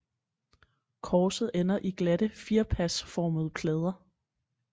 Korset ender i glatte firpasformede plader